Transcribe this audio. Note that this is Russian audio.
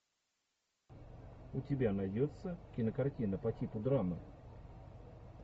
у тебя найдется кинокартина по типу драмы